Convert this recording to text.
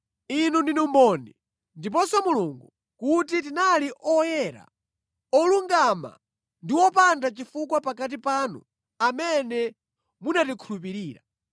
Inu ndinu mboni, ndiponso Mulungu, kuti tinali oyera mtima, olungama ndi wopanda chifukwa pakati panu amene munakhulupirira.